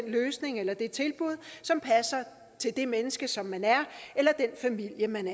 løsning eller det tilbud som passer til det menneske som man er eller den familie man